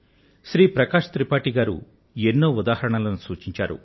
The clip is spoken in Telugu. శ్రీమాన్ ప్రకాశ్ త్రిపాఠీ మరిన్ని ఉదాహరణలను చెప్పుకొచ్చారు